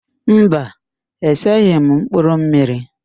Mba, eseghị m mkpụrụmmiri